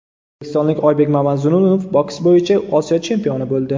O‘zbekistonlik Oybek Mamazulunov boks bo‘yicha Osiyo chempioni bo‘ldi.